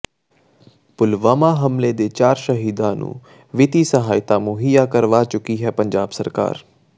ਪੁਲਵਾਮਾ ਹਮਲੇ ਦੇ ਚਾਰ ਸ਼ਹੀਦਾਂ ਨੂੰ ਵਿੱਤੀ ਸਹਾਇਤਾ ਮੁਹੱਈਆ ਕਰਵਾ ਚੁੱਕੀ ਹੈ ਪੰਜਾਬ ਸਰਕਾਰ